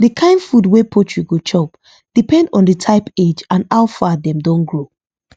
the kind food wey poultry go chop depend on the type age and how far dem don grow